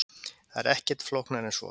Það er ekkert flóknara en svo.